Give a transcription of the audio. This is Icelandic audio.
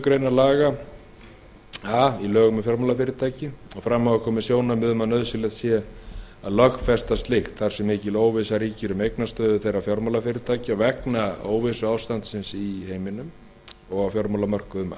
greinar a í lögum um fjármálafyrirtæki fram hafa komið sjónarmið um að nauðsynlegt sé að lögfesta slíkt þar sem svo mikil óvissa ríkir um eignastöðu þeirra fjármálafyrirtækja vegna þess óvissuástands sem ríkir á fjármálamörkuðum